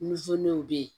Nizerimɛw be yen